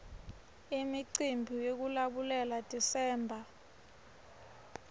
imiumbi yekulabulela desember